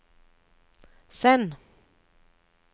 send